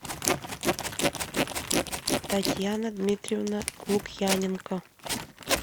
татьяна дмитриевна лукьяненко